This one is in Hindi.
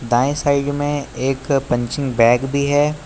दाएं साइड में एक पंचिंग बैग भी है।